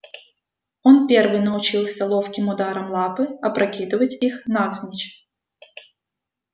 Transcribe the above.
он первый научился ловким ударом лапы опрокидывать их навзничь